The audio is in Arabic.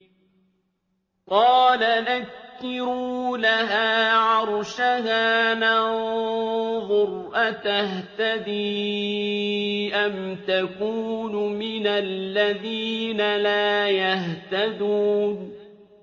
قَالَ نَكِّرُوا لَهَا عَرْشَهَا نَنظُرْ أَتَهْتَدِي أَمْ تَكُونُ مِنَ الَّذِينَ لَا يَهْتَدُونَ